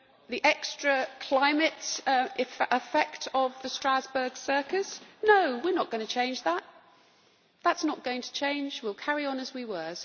The extra climate effect of the Strasbourg circus no, we are not going to change that. That is not going to change we will carry on as we were.